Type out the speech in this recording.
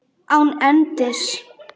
Án endis.